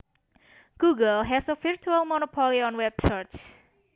Google has a virtual monopoly on web searches